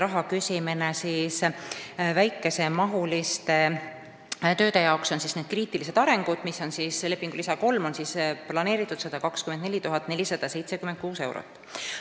Kuna küsisite raha kohta, siis ütlen, et nende kriitiliste väikearenduste jaoks, s.o lepingu lisa 3, on planeeritud 124 476 eurot.